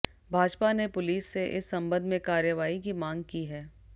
भाजपा ने पुलिस से इस संबंध में कार्रवाई की मांग की है